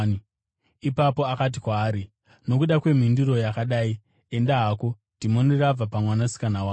Ipapo akati kwaari, “Nokuda kwemhinduro yakadai, enda hako; dhimoni rabva pamwanasikana wako.”